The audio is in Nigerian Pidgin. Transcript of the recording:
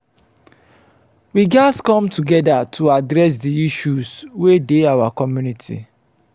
we gatz come together to address di issues wey dey our community.